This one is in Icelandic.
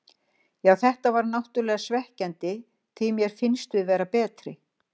Já þetta var náttúrlega svekkjandi því mér fannst við vera betri.